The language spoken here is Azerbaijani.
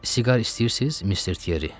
Siqar istəyirsiz, Mister Tierri?